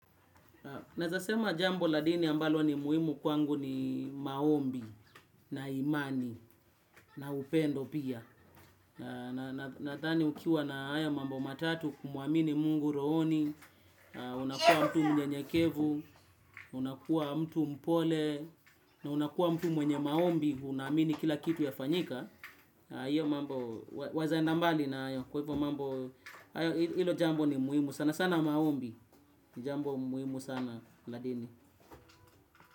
Ninaweza sema jambo la dini ambalo ni muhimu kwangu ni maombi, na imani, na upendo pia. Ninadhani ukiwa na haya mambo matatu kumuamini Mungu rohoni, unakuwa mtu mnyenyekevu, unakuwa mtu mpole, na unakuwa mtu mwenye maombi, unaamini kila kitu ya fanyika. Hiyo mambo, wawezaenda mbali nayo. Kwa hivyo mambo, ilo jambo ni muhimu sana sana maombi, jambo muhimu sana ladini. Kwa hivyo.